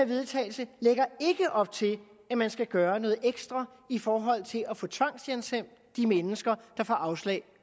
vedtagelse lægger ikke op til at man skal gøre noget ekstra i forhold til at få tvangshjemsendt de mennesker der får afslag